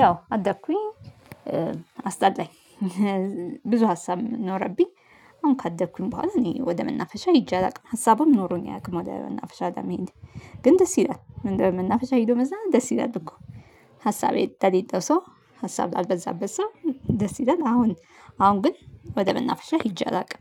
ያው አደኩኝ። አስጠላኝ። ብዙ ሀሳብ ኖረብኝ አሁን ካደኩኝ በኋላ እኔ ወደ መናፈሻ ሄጄ አላውቅም ሀሳብም ኖሮኝ አያውቅም ወደ መናፈሻ ጋር መሄድ። ግን ደስ ይላል ምንድነው መናፈሻ ሄዶ መዝናናት ደስ ይላል እኮ። ሀሳቤ ለሌለው ሰው ሀሳብ ላልበዛበት ሰው ደስ ይላል። አሁን አሁን ግን ወደ መናፈሻ ሄጄ አላውቅም